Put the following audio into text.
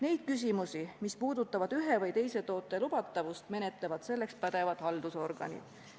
Neid küsimusi, mis puudutavad ühe või teise toote lubatavust, menetlevad selleks pädevad haldusorganid.